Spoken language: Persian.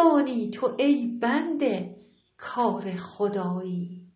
دانی تو ای بنده کار خدایی